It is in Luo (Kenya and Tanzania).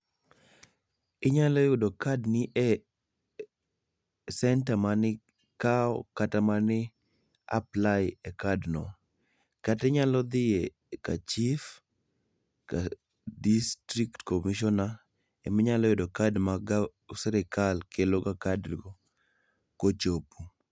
Inyalo yudo kad ni e senta mane ikaw kata mane i apply e kad no, kata inyalo dhie ka chief kata district commissioner ema inyalo kaw kad ma sirkal keloga kad kochopo